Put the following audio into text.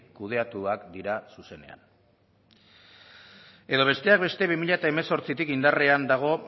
kudeatuak dira zuzenean edo besteak beste bi mila hemezortzitik indarrean dago